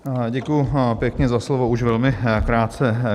Děkuji pěkně za slovo, už velmi krátce.